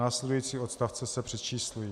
Následující odstavce se přečíslují."